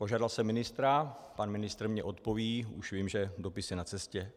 Požádal jsem ministra, pan ministr mi odpoví, už vím, že dopis je na cestě.